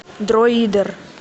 дроидер